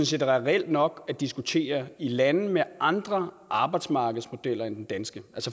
set er reelt nok at diskutere i lande med andre arbejdsmarkedsmodeller end den danske